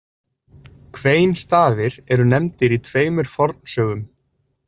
Kveinstafir eru nefndir í tveimur fornsögum.